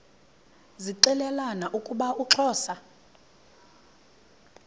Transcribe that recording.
zixelelana ukuba uxhosa